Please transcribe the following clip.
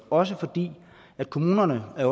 også fordi kommunerne er